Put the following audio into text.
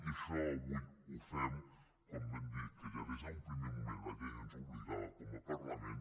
i això avui ho fem com vam dir que ja des d’un primer moment la llei ens hi obligava com a parlament